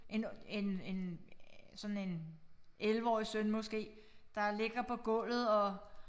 En en en øh sådan en 11 årig søn måske der ligger på gulvet og